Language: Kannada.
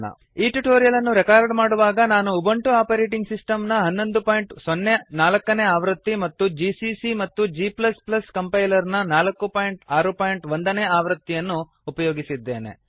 ಈ ಟ್ಯುಟೋರಿಯಲ್ ಅನ್ನು ರೆಕಾರ್ಡ್ ಮಾಡುವಾಗ ನಾನು ಉಬುಂಟು ಆಪರೇಟಿಂಗ್ ಸಿಸ್ಟಮ್ ನ 1104 ನೇ ಆವೃತ್ತಿ ಮತ್ತು ಜಿಸಿಸಿ ಮತ್ತು g ಕಂಪೈಲರ್ ನ 461 ನೇ ಆವೃತ್ತಿಯನ್ನು ಅನ್ನು ಉಪಯೋಗಿಸಿದ್ದೇನೆ